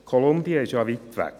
Kolumbien ist ja weit weg.